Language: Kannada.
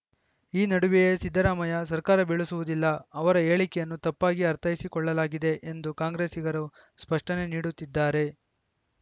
ಈ ನಡುವೆಯೇ ಸಿದ್ದರಾಮಯ್ಯ ಸರ್ಕಾರ ಬೀಳಿಸುವುದಿಲ್ಲ ಅವರ ಹೇಳಿಕೆಯನ್ನು ತಪ್ಪಾಗಿ ಅರ್ಥೈಸಿಕೊಳ್ಳಲಾಗಿದೆ ಎಂದು ಕಾಂಗ್ರೆಸ್ಸಿಗರು ಸ್ಪಷ್ಟನೆ ನೀಡುತ್ತಿದ್ದಾರೆ